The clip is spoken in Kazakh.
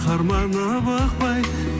қарманып ықпай